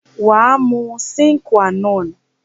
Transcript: Waa mu Sin Qua non